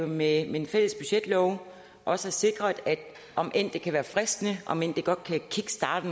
med en fælles budgetlov også har sikret om end det kan være fristende om end det godt kan kickstarte